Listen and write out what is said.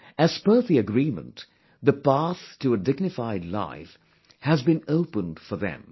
As per the agreement, the path to a dignified life has been opened for them